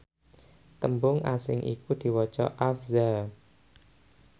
tembung asing iku diwaca afza